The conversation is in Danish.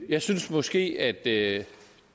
jeg synes måske at det